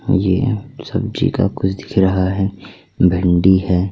ये सब्जी का कुछ दिख रहा है भिंडी है।